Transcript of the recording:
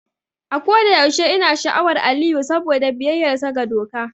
A kodayaushe ina sha'awar Aliyu saboda biyayyarsa ga doka.